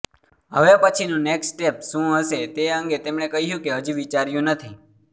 હવે પછીનું next step શું હશેતે અંગે તેમણે કહ્યું કે હજી વિચાર્યું નથી